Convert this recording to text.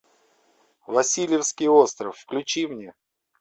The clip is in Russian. васильевский остров включи мне